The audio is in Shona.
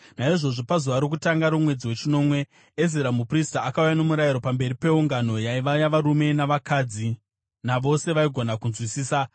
Naizvozvo pazuva rokutanga romwedzi wechinomwe, Ezira muprista akauya noMurayiro pamberi peungano, yaiva yavarume navakadzi navose vaigona kunzwisisa.